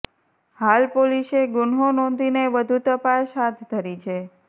હાલ પોલીસે ગુન્હો નોધીને વધુ તપાસ હાથ ધરી છે